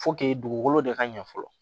dugukolo de ka ɲɛ fɔlɔ